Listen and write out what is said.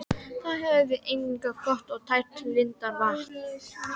Þar höfum við einnig gott og tært lindarvatn.